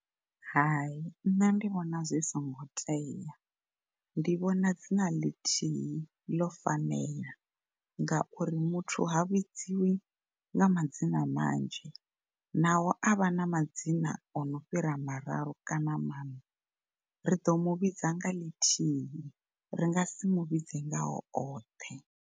Hai, ṋne ndi vhona zwi singo tea ndi vhona dzina ḽithihi ḽo fanela ngauri muthu ha vhidziwi nga madzina manzhi naho a vha na madzina ono fhira mararu kana maṋa ri ḓo muvhidza nga ḽithihi ringa si muvhidze ngao oṱhe.